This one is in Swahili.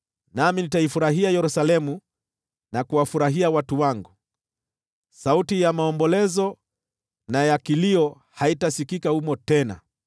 Nami nitaifurahia Yerusalemu na kuwafurahia watu wangu; sauti ya maombolezo na ya kilio haitasikika humo tena.